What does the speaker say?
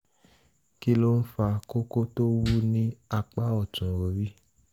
kí ló ń fa kókó tó wú ní apá ọ̀tún orí?